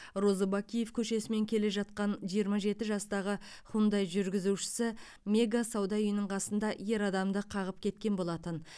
розыбакиев көшесімен келе жатқан жиырма жеті жастағы хундай жүргізушісі мега сауда үйінің қасында ер адамды қағып кеткен болатын